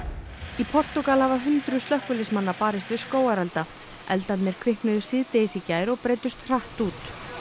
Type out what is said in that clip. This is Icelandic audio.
í Portúgal hafa hundruð slökkviliðsmanna barist við skógarelda eldarnir kviknuðu síðdegis í gær og breiddust hratt út